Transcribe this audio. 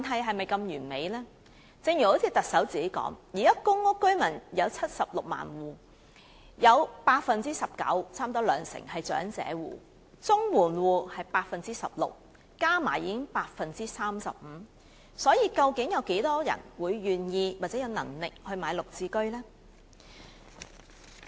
正如行政長官自己也提到，現在公屋居民有76萬戶，其中 19%， 即差不多兩成是長者戶；綜援戶則有 16%， 合計已經是 35%， 有多少人會願意或有能力購買"綠置居"呢？